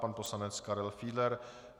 Pan poslanec Karel Fiedler.